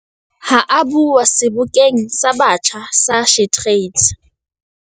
Ha a bua Sebokeng sa Batjha sa SheTrades